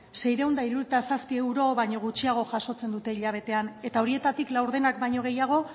seiehun eta hirurogeita zazpi euro baino gutxiago jasotzen dute hilabetean eta horietatik laurdenak baino gehiago